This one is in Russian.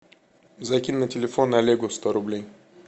закинь на телефон олегу сто рублей